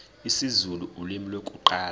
isizulu ulimi lokuqala